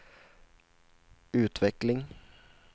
utveckling